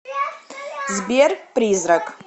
сбер призрак